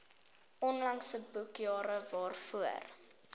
onlangse boekjare waarvoor